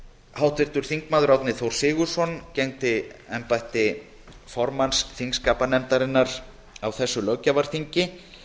háttvirtur þingmaður árni þór sigurðsson gegndi embætti formanns þingskapanefndar á þessu löggjafarþingi